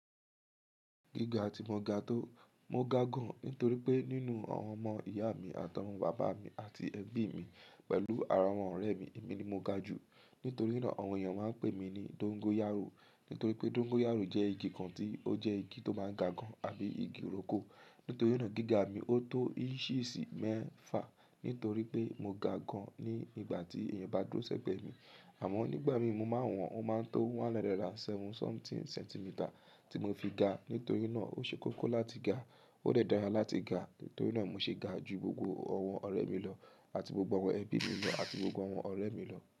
Gíga tí mo ga tó, mo ga gan nítorí pé nínú àwọn ọmọ ìyá mi àti àwọn bàbá mi àti ẹbí mi pẹ̀lú àwọn ọ̀rẹ́ mi, èmi ni mo ga jù. Nítorí náà àwọn èèyàn máa ń pè mí ní dóngóyárò. Nítorí pé dóngóyárò jẹ́ igi kan tí ó jẹ́ igi tó máa ń ga gan àbí igi ìrókò. Nítorí náà gíga mi ó tó ìnches mẹ́fà nítorí pé mo ga gan ní ìgbà tí èèyàn bá dúró sẹ́gbẹ̀ẹ́ mi. Àmọ́ nígbà míi mo máa wọ̀n ọ́n, ó máa ń to one hundred and seven sọmẹ́tín sẹ́ntimità tí mo fi ga. Nítorí náà ó ṣe kókó láti ga, ó de dáradára láti ga. Nítorí náà mo ṣe ga ju gbogbo àwọn ọ̀rẹ́ mi lọ àti gbogbo àwọn ẹbí mi lọ àti gbogbo àwọn ọ̀rẹ́ mi lọ.